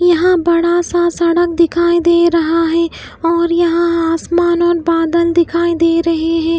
यहां बड़ा सा सड़क दिखाई दे रहा है और यहां आसमान और बादल दिखाई दे रहे हैं।